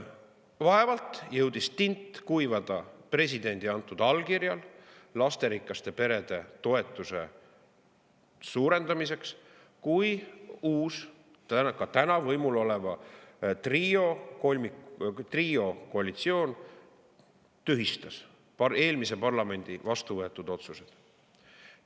Vaevalt jõudis tint kuivada presidendi antud allkirjaga otsusel lasterikaste perede toetuse suurendamiseks, kui uus, praegugi võimul oleva triokoalitsioon tühistas eelmise parlamendi vastu võetud otsused.